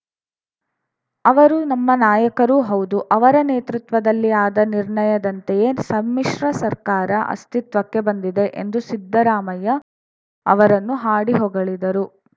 ಅವರು ನಮ್ಮ ನಾಯಕರೂ ಹೌದು ಅವರ ನೇತೃತ್ವದಲ್ಲಿ ಆದ ನಿರ್ಣಯದಂತೆಯೇ ಸಮ್ಮಿಶ್ರ ಸರ್ಕಾರ ಅಸ್ತಿತ್ವಕ್ಕೆ ಬಂದಿದೆ ಎಂದು ಸಿದ್ದರಾಮಯ್ಯ ಅವರನ್ನು ಹಾಡಿ ಹೊಗಳಿದರು